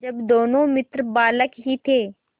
जब दोनों मित्र बालक ही थे